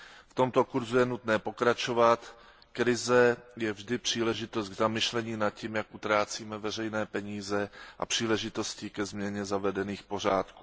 V tomto kurzu je nutné pokračovat, krize je vždy příležitostí k zamyšlení nad tím, jak utrácíme veřejné peníze, a příležitostí ke změně zavedených pořádků.